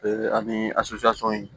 ani